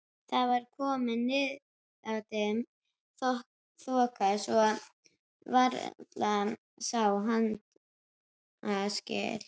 Það var komin niðadimm þoka svo varla sá handaskil.